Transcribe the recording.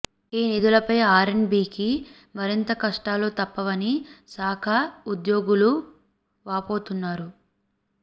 ఈ నిధులపై R and బీకి మరింత కష్టాలు తప్పవని శాఖ ఉద్యోగులూ వాపోతున్నారు